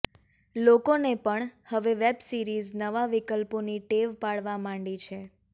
લોકોને પણ હવે વેબ સીરિઝ નવા વિકલ્પોની ટેવ પડવા માંડી છે